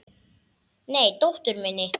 Nei, dóttur minni.